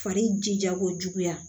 Fari jija ko juguya